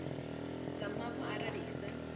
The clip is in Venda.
dza mavu arali i sa